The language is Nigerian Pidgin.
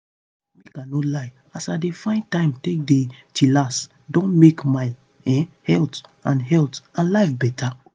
make i no lie as i dey find time take dey chillax don make my um health and health and life beta.